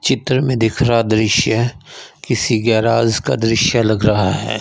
चित्र में दिख रहा दृश्य किसी गैराज का दृश्य लग रहा है।